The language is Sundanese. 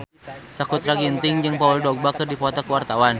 Sakutra Ginting jeung Paul Dogba keur dipoto ku wartawan